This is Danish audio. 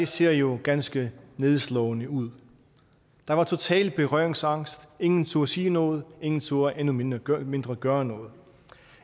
ser jo ganske nedslående ud der var total berøringsangst ingen turde sige noget ingen turde endnu mindre gøre mindre gøre noget